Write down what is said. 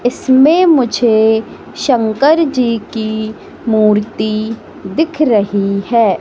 इसमें मुझे शंकर जी की मूर्ति दिख रही है।